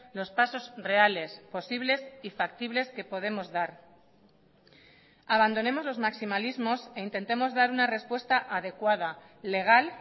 los pasos reales posibles y factibles que podemos dar abandonemos los maximalismos e intentemos dar una respuesta adecuada legal